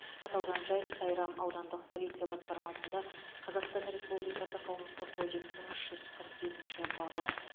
аталған жайт сайрам аудандық полиция басқармасында қазақстан республикасы қылмыстық кодексінің үш жүз қырық бесінші бабы